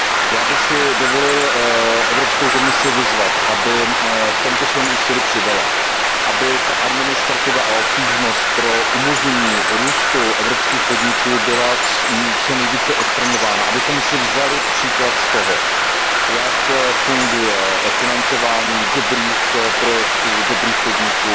Já bych si dovolil Evropskou komisi vyzvat, aby v tomto svém úsilí přidala, aby ta administrativa a obtížnost pro umožnění růstu evropských podniků byla co nejvíce odstraňována, abychom si vzali příklad z toho, jak funguje financování dobrých projektů, dobrých podniků